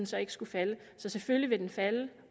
så ikke skulle falde så selvfølgelig vil den falde